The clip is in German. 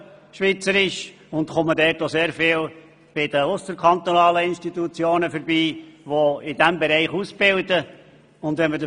Dabei besuche ich sehr oft ausserkantonale Institutionen, die in diesem Bereich Leute ausbilden.